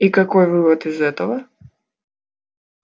и какой вывод из этого